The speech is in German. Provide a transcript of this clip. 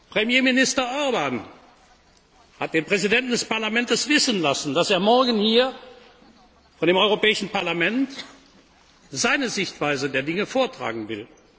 haben. Premierminister Orbán hat den Präsidenten des Parlaments wissen lassen, dass er morgen hier vor dem Europäischen Parlament seine Sichtweise der Dinge vortragen